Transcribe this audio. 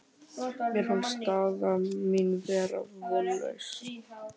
Mér fannst staða mín vera vonlaus.